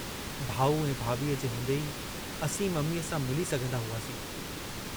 भाऊ ऐं भाभीअ जे हूंदे ई असीं मम्मीअ सां मिली सघंदा हुआसीं।